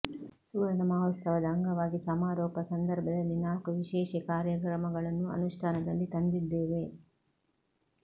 ಸುವರ್ಣ ಮಹೋತ್ಸವದ ಅಂಗವಾಗಿ ಸಮಾರೋಪ ಸಂದರ್ಭದಲ್ಲಿ ನಾಲ್ಕು ವಿಶೇಷೆಕಾರ್ಯಕ್ರಮಗಳನ್ನು ಅನುಷ್ಠಾನದಲ್ಲಿ ತಂದಿದ್ದೇವೆ